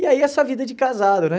E aí essa vida de casado, né?